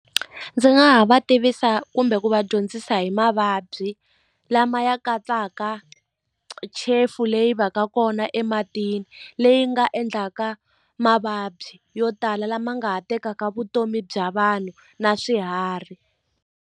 Ndzi nga ha va tivisa kumbe ku va dyondzisa hi mavabyi lama ya katsaka chefu leyi va ka kona ematini leyi nga endlaka mavabyi yo tala lama nga ha tekaka vutomi bya vanhu na swiharhi.